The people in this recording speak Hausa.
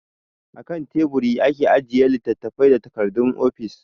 A kan Teburi ake ajiye littattafai da takardun ofishi.